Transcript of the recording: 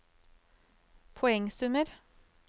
poengsummer